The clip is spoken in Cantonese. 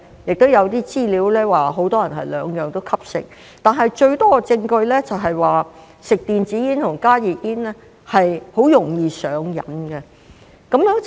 亦有資料顯示很多人是兩者均吸食，但最多證據指吸食電子煙和加熱煙是很容易上癮的。